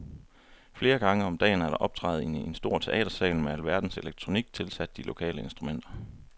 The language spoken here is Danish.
Flere gange om dagen er der optræden i en stor teatersal med alverdens elektronik tilsat de lokale instrumenter.